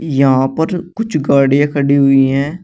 यहां पर कुछ गाड़ियां खड़ी हुई हैं।